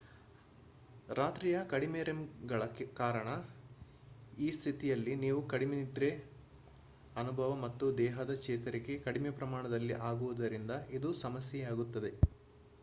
ರಾತ್ರಿಯ ಕಡಿಮೆ rem ಗಳ ಕಾರಣ ಈ ಸ್ಥಿತಿಯಲ್ಲಿ ನೀವು ಕಡಿಮೆ ನಿದ್ರೆಯ ಅನುಭವ ಮತ್ತು ದೇಹದ ಚೇತರಿಕೆ ಕಡಿಮೆ ಪ್ರಮಾಣದಲ್ಲಿ ಆಗುವುದರಿಂದ ಇದು ಸಮಸ್ಯೆಯಾಗುತ್ತದೆ